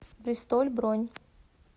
бристоль бронь